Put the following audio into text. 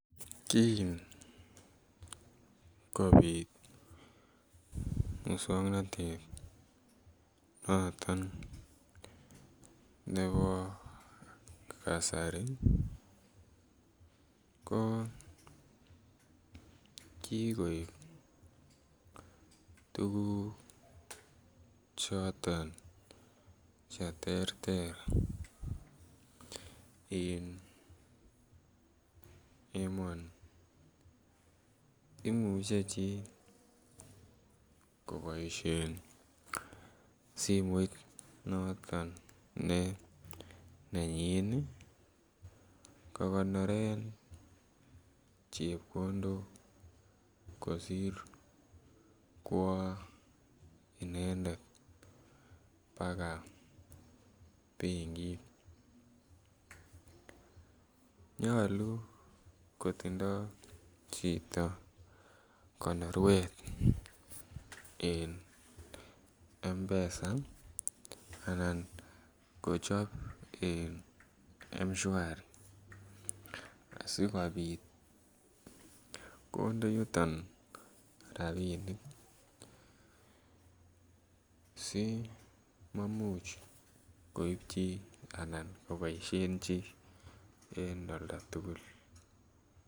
Kin kobit moswoknatet noton nebo kasari ko kikoib tuguk choton Che terter en emoni imuche chi koboisien simoit ne nenyin kogonoren chepkondok kosir kwo inendet baka benkit nyolu kotindoi chito konoruet en mpesa anan kochob en M-Shwari asi kobit konde yuton rabinik simamuch koib chi anan koboisien chi en oldo tugul